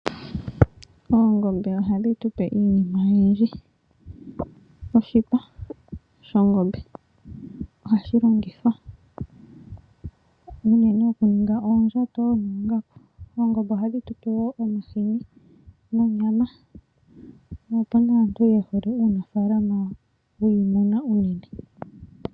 Oongombe ohadhi tupe iinima oyindji. Oshipa shongombe, ohashi longithwa unene okuninga oondjato noongaku. Oongombe ohadhi tupe wo omahini nonyama, opuna aantu yehole uunafaalama wiimuna unene.